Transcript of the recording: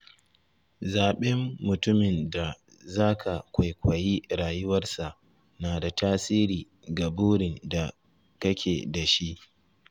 Zaɓen mutumin da za ka kwaikwayi rayuwarsa na da tasiri ga burin da kake da shi.